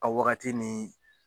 A wagati nii